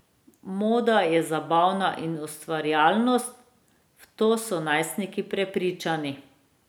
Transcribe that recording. Moda je zabava in ustvarjalnost, v to so najstniki prepričani.